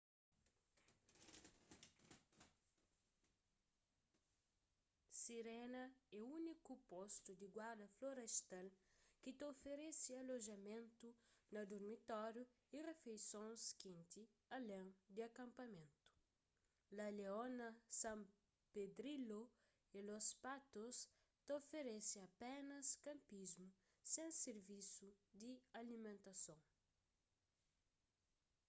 sirena é úniku postu di guarda-florestal ki ta oferese alojamentu na durmitóriu y rifeisons kenti alén di akanpamentu la leona san pedrillo y los patos ta oferese apénas kanpismu sen sirvisu di alimentason